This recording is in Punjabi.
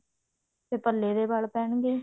ਤੇ ਪੱਲੇ ਦੇ ਵਲ ਪੈਣਗੇ